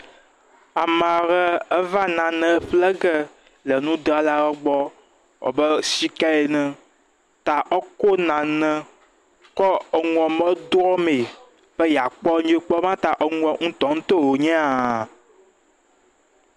Amaa re eve nane ƒle ge le nudralawo gbɔ abe shika ene ta ekɔ nane kɔ enua me drɔmee be yeakpɔ be ta eŋuɔ ŋutɔŋutɔ wònye hãa.